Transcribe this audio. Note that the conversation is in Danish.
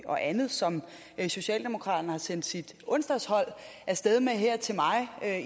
og andet som socialdemokraterne har sendt sit onsdagshold afsted med her til mig